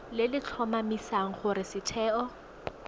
le le tlhomamisang gore setheo